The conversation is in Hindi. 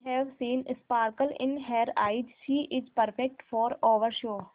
I have seen sparkle in her eyes she is perfect for our show